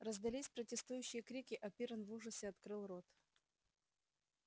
раздались протестующие крики а пиренн в ужасе открыл рот